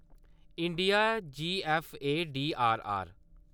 India GFDRR